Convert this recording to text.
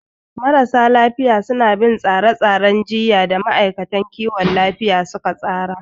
Marasa lafiya suna bin tsare-tsaren jiyya da ma'aikatan kiwon lafiya suka tsara.